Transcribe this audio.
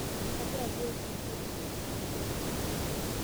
kagira duo aitukuo